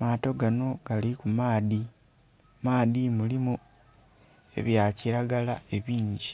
maato ganho gali ku maadhi, maadhi mulimu ebyakilagala ebingi.